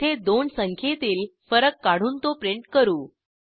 येथे दोन संख्येतील फरक काढून तो प्रिंट करू